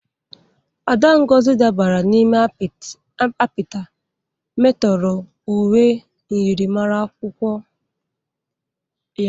Ada Ngozi dabara n'ime apita metọrọ uwe myịrịmara akwụkwọ ya.